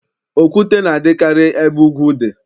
Okwute na-adịkarị ebe ugwu dị.